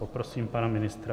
Poprosím pana ministr?